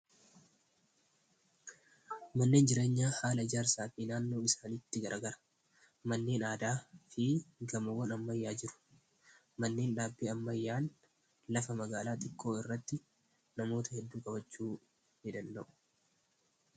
Manneen jireenyaa haala jaarsaa fi naannoo isaanitti garagaraa manneen aadaa fi gamoonammayyaa jiru manneen dhaabbii ammayyaan lafa magaalaa xiqkoo irratti namoota hedduu qabachuu ni danda'u.